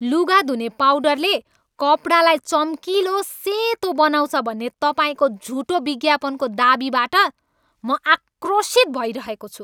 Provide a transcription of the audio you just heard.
लुगा धुने पाउडरले कपडालाई चम्किलो सेतो बनाउँछ भन्ने तपाईँको झुटो विज्ञापनको दावीबाट म आक्रोशित भइरहेको छु।